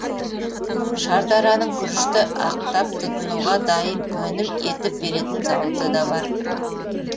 шардараның күрішті ақтап тұтынуға дайын өнім етіп беретін зауыты да бар